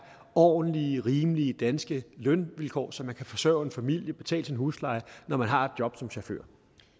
ordentlige rimelige danske lønvilkår så man kan forsørge en familie og betale sin husleje når man har et job som chauffør